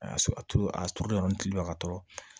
A y'a a turu a turulen tulo ka tɔɔrɔ